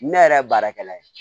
Ne yɛrɛ ye baarakɛla ye